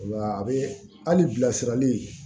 A bɛ hali bilasirali